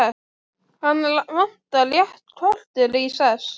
Hana vantar rétt kortér í sex.